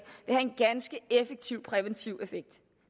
have en ganske effektiv præventiv effekt